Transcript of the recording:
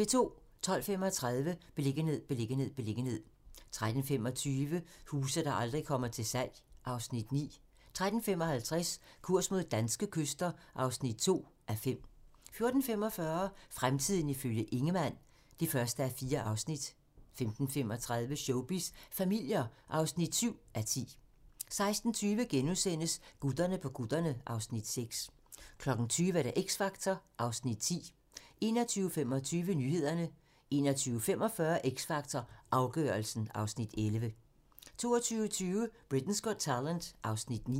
12:35: Beliggenhed, beliggenhed, beliggenhed 13:25: Huse, der aldrig kommer til salg (Afs. 9) 13:55: Kurs mod danske kyster (2:5) 14:45: Fremtiden ifølge Ingemann (1:4) 15:35: Showbiz familier (7:10) 16:20: Gutterne på kutterne (Afs. 6)* 20:00: X Factor (Afs. 10) 21:25: Nyhederne 21:45: X Factor - afgørelsen (Afs. 11) 22:20: Britain's Got Talent (Afs. 9)